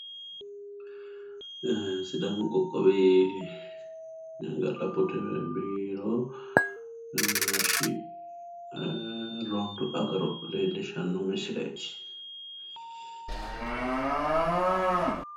Sidaamu qoqqowi ga'labbote biiro hashshi rondu agaro leellishshanno misileeti.